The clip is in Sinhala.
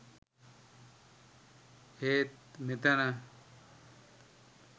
ඒත් මෙතන